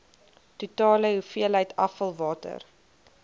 totale hoeveelheid afvalwater